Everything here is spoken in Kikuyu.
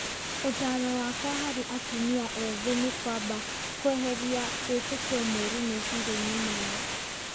"Ũtaaro wakwa harĩ atumia ethĩ nĩ kwamba kweheria wĩtekio moru meciria-inĩ mao.